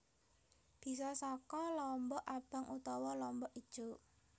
Bisa saka lombok abang utawa lombok ijo